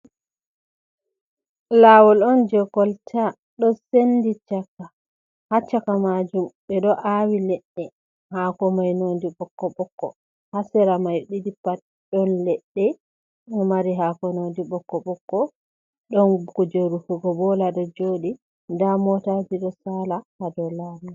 Leggal manngal ɗo dari e nanta geene haa les maagal, nda feere bo peetel peetel, leggal ni ɓe ɗo aawa haa saare ngam hokka dawdi heɓa himɓe jooɗa, nden hokka henndu.